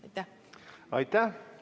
Aitäh!